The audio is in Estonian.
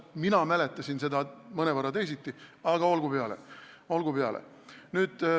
Mina mäletasin seda mõnevõrra teisiti, aga olgu peale.